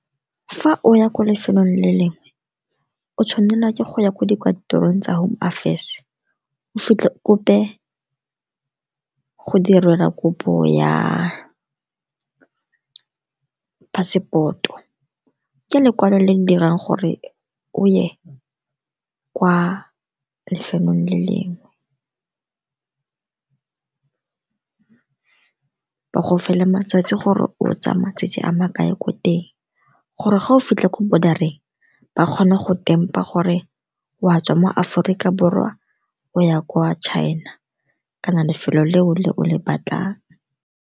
Fa o ya ko lefelong le lengwe, o tshwanelwa ke go ya ko dikantorong tsa Home Affairs. O fitlhe go direlwa kopo ya passport-o. Ke lekwalo le di dirang gore o ye kwa lefelong le lengwe. Ba go fe le matsatsi gore o tsaya matsatsi a makae ko teng, gore fa o fitlha ko border-eng, ba kgone go tempa gore wa tswa mo Aforika Borwa o ya kwa China kana lefelo le o le o le batlang.